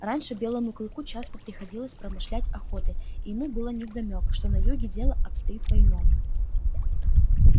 раньше белому клыку часто приходилось промышлять охотой и ему было невдомёк что на юге дело обстоит по иному